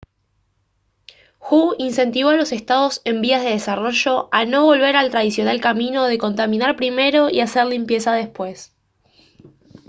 hu incentivó a los estados en vías de desarrollo a «no volver al tradicional camino de contaminar primero y hacer limpieza después»